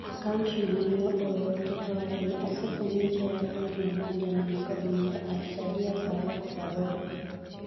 Akaunt no nene ooro oote kawachoni:Afwenyoni nitiere akaunt mabandia man kod nyinga @sadiya-Farouq-Farouq.